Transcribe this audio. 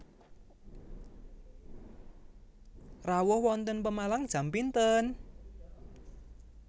Rawuh wonten Pemalang jam pinten?